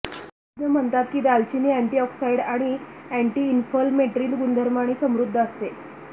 तज्ञ म्हणतात की दालचिनी अँटीऑक्सिडंट आणि अँटीइन्फ्लमेट्री गुणधर्मांनी समृद्ध असते